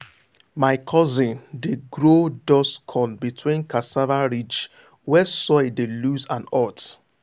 my cousin dey grow dust corn between cassava ridge where soil dey loose and hot.